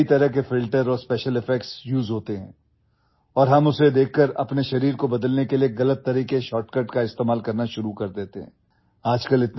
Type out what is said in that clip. कई तरह के ଫିଲ୍ଟର और ସ୍ପେସିଆଲ୍ ଇଫେକ୍ଟସ୍ ୟୁଏସଇ होते हैंऔर हम उसे देखकर अपने शरीर को बदलने के लिए गलत तरीकेଶର୍ଟକଟ୍ का इस्तेमाल करना शुरू कर देते हैं